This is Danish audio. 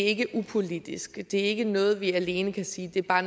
ikke upolitisk det er ikke noget vi alene kan sige bare